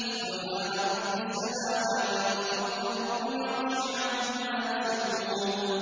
سُبْحَانَ رَبِّ السَّمَاوَاتِ وَالْأَرْضِ رَبِّ الْعَرْشِ عَمَّا يَصِفُونَ